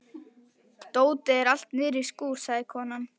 Dótið er allt niðri í skúr, sagði konan.